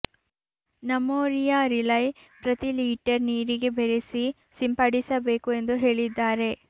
ನಮೋರಿಯಾ ರಿಲೈ ಪ್ರತಿ ಲೀಟರ್ ನೀರಿಗೆ ಬೆರೆಸಿ ಸಿಂಪಡಿಸಬೇಕು ಎಂದು ಹೇಳಿದ್ದಾರೆ